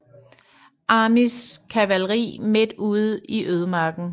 Armys kavalri midt ude i ødemarken